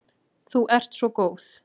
Þú ert svo góð.